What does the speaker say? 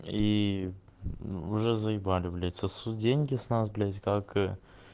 и уже заебали блять сосут деньги с нас блять как